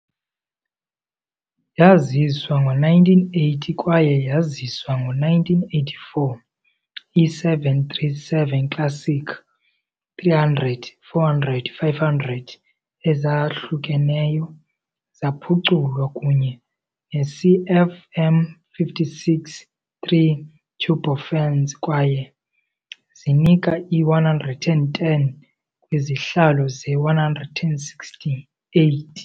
Yaziswa ngo-1980 kwaye yaziswa ngo-1984, i-737 Classic-300 - 400 - 500 ezahlukeneyo zaphuculwa kunye ne-CFM56-3 turbofans kwaye zinika i-110 kwizihlalo ze-168.